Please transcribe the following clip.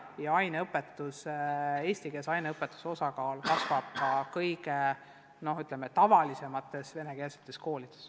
Ja eestikeelse aineõpetuse osakaal kasvab ka kõige tavalisemates vene koolides.